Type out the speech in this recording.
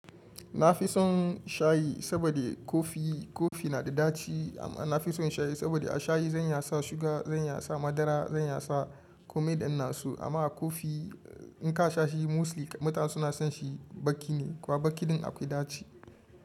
Na fi son shayi saboda kofi, kofi na da ɗaci amma na fi son shayi saboda a shayi zan yasa shuga, zan yasa madara, zan yasa komai da ina so amma a kofi in ka sha shi mostly mutane suna son shi baki ne kuwa bakin akwai ɗaci.